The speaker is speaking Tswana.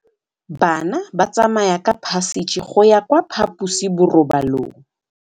Bana ba tsamaya ka phašitshe go ya kwa phaposiborobalong.